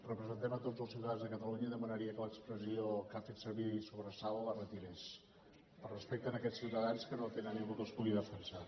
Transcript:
representem tots els ciutadans de catalunya i demanaria que l’expressió que ha fet servir sobre salt la retirés per respecte a aquests ciutadans que no tenen ningú que els pugui defensar